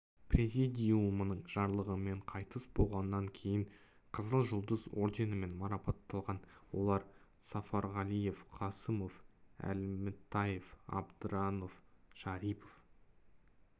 президиумының жарлығымен қайтыс болғаннан кейін қызыл жұлдыз орденімен марапатталған олар сафарғалиев қасымов әлімтаев абдранов шарипов